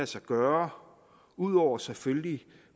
sig gøre ud over selvfølgelig